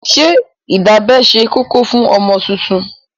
Ṣé ìdábẹ́ ṣe kókó fún ọmọ tuntun?